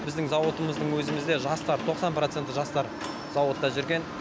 біздің зауытымыздың өзімізде жастар тоқсан проценті жастар зауытта жүрген